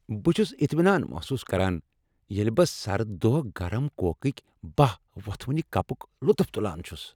بہٕ چھس اطمینان محسوس کران ییٚلہ بہٕ سرد دۄہ گرم کوکٕک بہہ وۄتھونہ کپک لطف تلان چھ۔